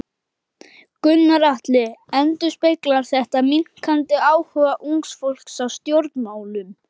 Gunnar Atli: Endurspeglar þetta minnkandi áhuga ungs fólks á stjórnmálum?